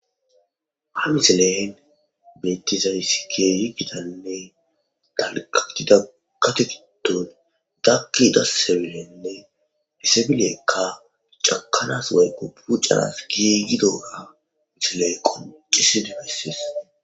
Ha misilen betizaysi keehi gitanne dalga gidida gade gidon gakida sebilenne sibilehka cakamas woykon buucanas gakidoga misiley keehid qoncises